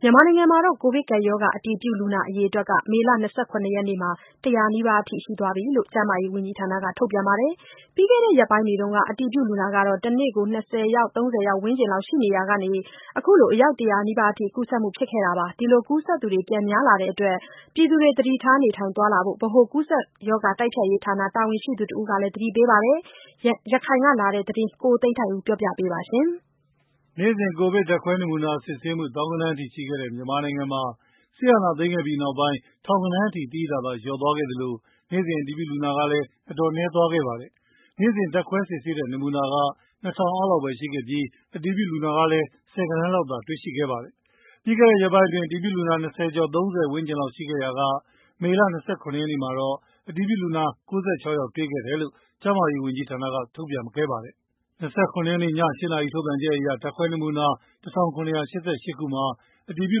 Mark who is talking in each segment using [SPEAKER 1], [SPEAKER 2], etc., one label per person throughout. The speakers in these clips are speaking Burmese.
[SPEAKER 1] မြန်မာနိုင်ငံမှာ ကိုဗစ်ကပ်ရောဂါ အတည်ပြုလူနာအရေအတွက် မေလ ၂၇ ရက်နေ့က ၁၀၀ နီးပါးရှိတယ်လို့ ကျန်းမာရေးဝန်ကြီးဌာနက ထုတ်ပြန်ပါတယ်။ ပြီးခဲ့တဲ့ရက်ပိုင်းတွေက အတည်ပြုလူနာ တနေ့ကို ၂၀၊ ၃၀ ဝန်းကျင်မှာ ရှိနေရာက ခုလို ၁၀၀ နီးပါးထိတက်လာတာပါ။ ကူးစက်သူ ပြန်များလာတဲ့အတွက် ပြည်သူတွေ သတိထား နေထိုင်သွားလာဖို့ ဗဟိုကူးစက်ရောဂါ တိုက်ဖျက်ရေးဌာနတာဝန်ရှိသူတဦးက သတိပေးပါတယ်။ ရခိုင်ကလာတဲ့ ဒီသတင်းကို ကိုသိန်းထိုက်ဦးက ပြောပြထားပါတယ်။
[SPEAKER 2] နေ့စဉ် ကိုဗစ် ဓာတ်ခွဲနမူနာစစ်ဆေးမှု သောင်းဂဏန်းထိရှိခဲ့တဲ့ မြန်မာနိုင်ငံမှာ စစ်အာဏာသိမ်းခဲ့ပြီးနောက်ပိုင်း ထောင်ဂဏန်းအထိ သိသိသာသာ လျော့သွားခဲ့သလို နေ့စဉ် အတည်ပြုလူနာဟာလည်း အတော်နည်းသွားခဲ့ပါတယ်။ နေ့စဉ် ဓာတ်ခွဲစစ်ဆေးတဲ့ နမူနာက ၂,၀၀၀ အောက်လောက်ပဲ ရှိခဲ့ပြီး အတည်ပြုလူနာကလည်း ဆယ်ဂဏန်းလောက်သာ တွေ့ရှိခဲ့ပါတယ်။ ပြီးခဲ့တဲ့ရက်ပိုင်းအတွင်း အတည်ပြုလူနာ၂၀ ကျော် ၃၀ ဝန်းကျင်လောက်သာရှိခဲ့ရာက မေလ ၂၇ ရက်နေ့မှာတော့ အတည်ပြုလူနာ ၉၆ ယောက်တွေ့တယ်လို့ ကျန်းမာရေးဝန်ကြီးဌာနက ထုတ်ပြန်ခဲ့ပါတယ်။ ၂၇ ရက်နေ့ ည ၈ နာရီထုတ်ပြန်ချက်အရ ဓါတ်ခွဲနမူနာ ၁,၇၈၈ ခုမှာ အတည်ပြု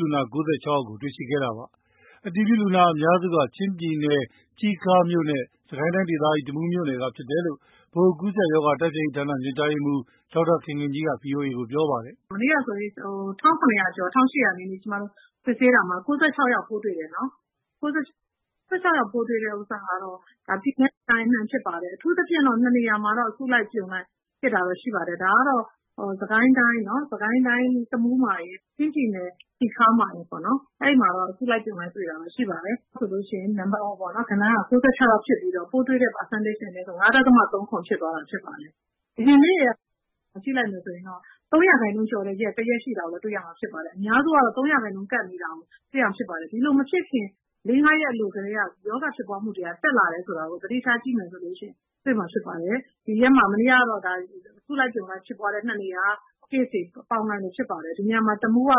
[SPEAKER 2] လူနာ ၉၆ ယောက်ကို တွေ့ခဲ့တာပါ။ အတည်ပြုလူနာအများစုက ချင်းပြည်နယ် တီးခါးမြို့နဲ့ စစ်ကိုင်းတိုင်းဒေသကြီး တမူးမြို့နယ်က ဖြစ်ကြတယ်လို့ ဗဟိုကူးစက်ရောဂါ တိုက်ဖျက်ရေးဌာန ညွှန်ကြားရေးမှူး ဒေါက်တာခင်ခင်ကြီးက ဗွီအိုအေကို ပြောပါတယ်
[SPEAKER 1] ။ “မနေ့ကဆိုရင် ကျမတို့ ၁၇၀ ကျော် ၁၈၀ နီးပါး စစ်ဆေးတာမှာ ၉၆ ယောက်တွေ့တယ်နော်။ ၉၆ ယောက်တွေ့တာက ပြည်နယ်နဲ့ တိုင်းအနှံ့ကဖြစ်ပါတယ်။ အထူးသဖြင့် နှစ်နေရာမှာတော့ အစုလိုက် အပြုံလိုက်ဖြစ်တာကိုတွေ့ရတယ်။ ဒါကတော့ စကိုင်းတိုင်း တမူးမှာရယ်။ ချင်းပြည်နယ် တီခါးမှာရယ်ပေါ့နော်။ အဲဒီမှာတော့ အစုလိုက် အပြုံလိုက် တွေ့တာတော့ ရှိပါတယ်။ ဒါကြောင့်မိုလို့ ပိုးတွေ့တဲ့ဂဏန်းက ၉၆ ဖြစ်ပြီးတော့ ပိုးတွေ့တဲ့ ရာခိုင်နှူန်းကတော့ ၅.၃၇ ဖြစ်သွားတာ ဖြစ်ပါတယ်။ အရင်တုန်းက ရက်တွေကို ကြည့်လိုက်မယ်ဆိုရင် ၃% ကျော်တဲ့ရက် တရက်ရှိတာကို တွေ့ရမှာဖြစ်ပါတယ်။ အများစုကတော့ ၃% ကပ်နေတာကိုတွေ့ရမှာ ဖြစ်ပါတယ်။ ဒီလိုမဖြစ်ခင် လေးငါးရက် အလိုကတည်းက ရောဂါဖြစ်ပွားမှုနှူန်းက တက်လာတယ်ဆိုတာကို သတိထားကြည့်မယ်ဆိုရင် တွေ့မှာဖြစ်ပါတယ်။ မနေ့ကတော့ အစုလိုက်အပြုံလိုက် case တွေကို ပေါင်းလိုက်လို့ဖြစ်ပါ တယ်။ တမူးက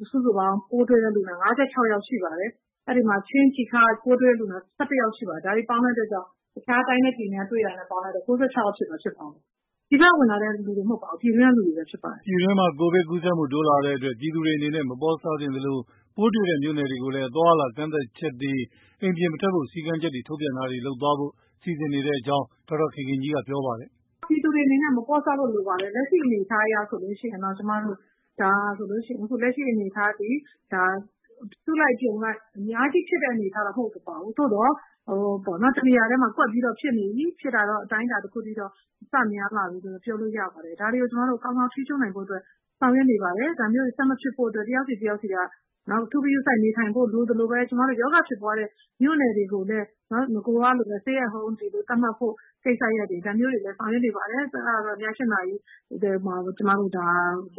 [SPEAKER 1] ပိုးတွေ့လူနာ ၅၆ ယောက်ရှိပါတယ်။ ချင်းပြည်နယ် တီခါးမြို့နယ်က ပိုးတွေ့လူနာ ၁၁ ယောက်ရှိပါတယ်။ တခြားတိုင်းနဲ့ ပြည်နယ်တွေက ပေါင်းလိုက်တော့ ၉၆ ယောက် ဖြစ်သွားတာ ဖြစ်ပါတယ်။ ပြည်ပက ဝင်လာသူတွေ မဟုတ်ပါဘူး ပြည်တွင်းက သူတွေပဲ ဖြစ်ပါတယ်
[SPEAKER 2] ။” ပြည်တွင်းမှာ ကိုဗစ်ကူးစက်မှုတိုးလာတဲ့အတွက် ပြည်သူတွေအနေနဲ့ မပေါ့ဆသင့်သလို ပိုးတွေ့တဲ့ မြို့နယ်တွေကိုလည်း အသွားအလာ ကန့်သတ်ချက်တွေ အိမ်ပြင်မထွက်ဖို့ စည်းကမ်းချက် ထုတ်ပြန်တာတွေ လုပ်သွားဖို့ စီစဉ်နေတယ်လို့လည်း ဒေါက်တာခင်ခင်ကြီးက ပြောပါတယ်။
[SPEAKER 1] “ဒါပြည်သူတွေအနေနဲ့ မပေါ့ဆဖို့ လိုပါတယ်။ လက်ရှိအနေအထားအရဆိုရင် ဒါ အစုလိုက် အပြုံလိုက် အများကြီးဖြစ်တဲ့ အနေအထားတော့ မဟုတ်ပါဘူး။ သို့သော် တနေရာထဲမှာ ကွက်ပြီးတော့ ဖြစ်နေပြီ အတိုင်းအတာတခုအထိတော့ စများလာပြီဆိုပြီးတော့ ပြောလို့ရပါတယ်။ ဒါတွေကို ကျမတို့ ကောင်းကောင်းထိန်းချုပ်နိုင်ဖို့အတွက် ကျမတို့ ဆောင်ရွက်နေ ပါတယ်။ ဒါမျိုး ဆက်မဖြစ်ဖို့အတွက် တယောက်စီတယောက်စီက အထူးဂရုစိုက်ဖို့ လိုသလိုပဲ ကျမတို့ ရောဂါဖြစ်ပွားတဲ့ မြို့နယ်တွေကိုလည်း နဂိုကလိုပဲ Stay home တွေ သတ်မှတ်ဖို့ ကိစ္စရပ်တွေ ဒါမျိုးတွေလည်း ဆောင်ရွက်နေပါတယ်။ ဒါတွေကို ည ၈ နာရီမှာ အသွားအလာပ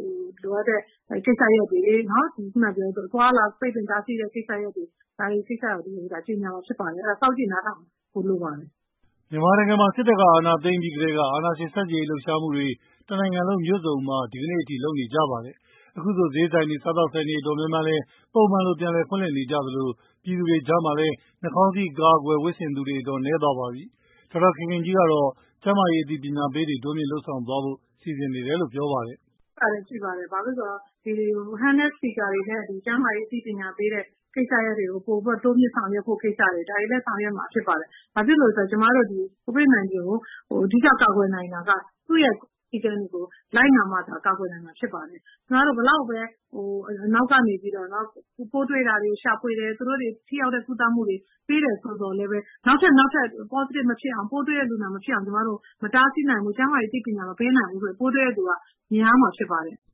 [SPEAKER 1] ိတ်ပင်တားဆီးမယ့် အနေအထားတွေ ဒါတွေကို ကြေငြာမှာဖြစ်ပါတယ်။ အဲတော့ စောင့်ကြည့်နားထောင်ကြပါလို့ပြောချင်ပါတ
[SPEAKER 2] ယ်။” မြန်မာနိုင်ငံမှာ စစ်တပ်က အာဏာသိမ်းပြီးကတည်းက အာဏာရှင်ဆန့်ကျင်လှုပ်ရှားတွေ တနိုင်ငံလုံး မြို့စုံမှာ ဒီကနေ့အထိ လုပ်နေကြပါတယ်။ အခုဆို ဈေးဆိုင်တွေ စားသောက်ဆိုင်တွေ တော်တော်များများလည်း ပုံမှန်လို ပြန်လည်ဖွင့်နေကြသလို ပြည်သူတွေကြားမှာလည်း နှာခေါင်းစည်း အကာအကွယ် ဝတ်ဆင်သူက တော်တော် နည်းသွားပါပြီ။ဒေါက်တာခင်ခင်ကြီးကတော့ ကျန်းမာရေး အသိပညာပေးတွေတိုးမြင့်လုပ်ဆောင်သွားဖို့ စီစဉ်နေတယ်လို့ ပြောပါတယ်။ “လုပ်
[SPEAKER 1] ဖို့အစီအစဉ်ရှိပါတယ်။ လက်ကိုင် စပီကာတွေနဲ့ ကျန်းမာရေး အသိပညာပေးတဲ့ ကိစ္စရပ်တွေကို ပိုပြီးတော့ တိုးမြှင့်ဆောင်ရွက်ဖို့ ကိစ္စရပ်တွေ ဒါတွေလည်း ဆောင်ရွက်မှာ ဖြစ်ပါတယ်။ ဘာဖြစ်လို့လည်း ဆိုတာ့ ကျမတို့ ကိုဗစ်-၁၉ ကို အဓိက ကာကွယ်နိုင်တာက သူ့ရဲ့စည်းကမ်းတွေကို လိုက်နာမှသာ ကာကွယ်နိုင်မှာ ဖြစ်ပါတယ်။ ကျမတို့ ဘယ်လောက်ပဲ နောက်ကနေပြီးတော့ပေါ့နော်။ ပိုးတွေ့တာတွေကို ရှာဖွေတယ်။ သူတို့ကို ထိရောက်တဲ့ ကုသမှုတွေ ပေးတယ်ဆိုပေမယ့်လည်း နောက်ထပ် ပိုးတွေ့တဲ့ လူနာမဖြစ်အောင် မတားဆီးနိုင်ဘူး ကျန်းမာရေးအသိပညာမပေးနိုင်ဘူးဆိုရင် ပိုးတွေ့တဲ့ လူနာတွေက များမှာ ဖြစ်ပါတယ်။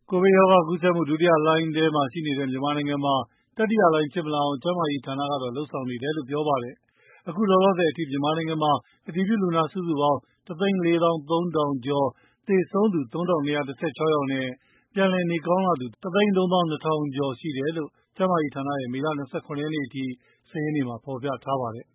[SPEAKER 2] ” ကိုဗစ်ရောဂါ ကူးစက်မှု ဒုတိယလှိုင်းထဲမှာ ရှိနေတဲ့ မြန်မာနိုင်ငံမှာ တတိယလှိုင်း ဖြစ်မလာအောင် ကျန်းမာရေးဌာနကတော့ လုပ်ဆောင်နေတယ်လို့လည်း ပြောပါတယ်။ အခုလောလောဆယ်အထိ မြန်မာနိုင်ငံမှာ အတည်ပြုလူနာ စုစုပေါင်း ၁ သိန်း ၄ သောင်း ၃ ထောင်ကျော် (၁၄၃,၄၁၄) ၊ သေဆုံးသူ ၃,၂၁၆ ယောက်နဲ့ပြန်လည်နေကောင်းလာသူ ၁ သိန်း ၃ သောင်း ၂ ထောင်ကျော် (၁၃၂,၂၆၉) ရှိတယ်လို့ ကျန်းမာရေးဌာနရဲ့မေလ ၂၇ ရက်အထိ စာရင်းမှာ ဖော်ပြထားပါတယ်